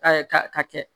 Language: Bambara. ka kɛ